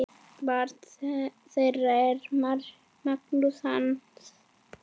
Barn þeirra er Magnús Hans.